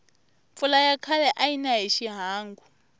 mpfula ya khale ayina hi xihangu